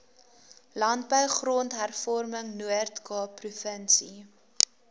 landbou grondhervormingnoordkaap provinsie